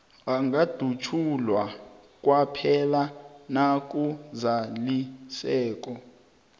angadutjulwa kwaphela nakuzaliseke